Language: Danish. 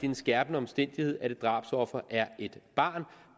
en skærpende omstændighed at et drabsoffer er et barn